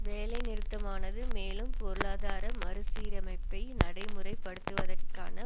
வேலை நிறுத்தமானது மேலும் பொருளாதார மறு சீரமைப்பை நடைமுறை படுத்துதற்கான